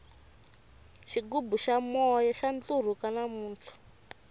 xigubu xa moya xa ntlurhuka namuntlha